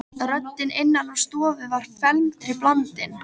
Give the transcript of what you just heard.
Röddin innan úr stofu var felmtri blandin.